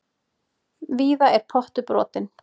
Víða er pottur brotinn.